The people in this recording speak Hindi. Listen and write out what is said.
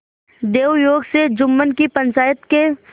दैवयोग से जुम्मन की पंचायत के